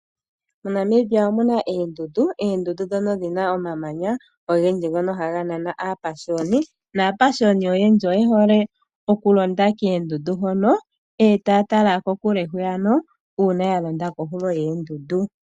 MoNamibia omuna eendundu, eendundu ndhono dhina omamanya ogendji ngono haga nana aapashiyoni naapashiyoni oyendji oye hole oku londa keendundu hono etaya tala kokule hwiya ka uuna ya londa kohulo yeendundu.